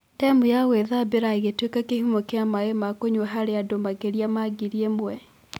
Ndemu ya gũĩthambira ĩgĩtuĩka kĩhumo kĩa maĩ ma kũnyua harĩandũ makĩria ma ngiri ĩmwe.